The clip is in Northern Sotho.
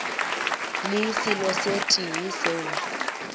le selo se tee seo